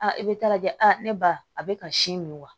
i bɛ taa lajɛ ne ba a bɛ ka si min wa